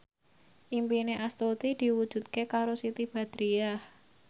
impine Astuti diwujudke karo Siti Badriah